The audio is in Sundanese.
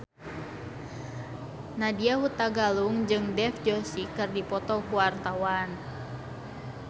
Nadya Hutagalung jeung Dev Joshi keur dipoto ku wartawan